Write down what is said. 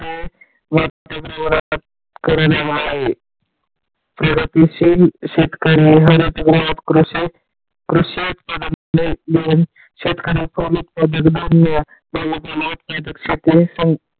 वातावरण आता खराब आहे प्रगतशील शेतकरी यांनाच आज कृषी उत्पादन शेतकरी .